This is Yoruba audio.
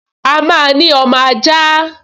A máa ní ọmọ ajá